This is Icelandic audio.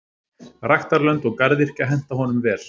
Ræktarlönd og garðyrkja henta honum vel.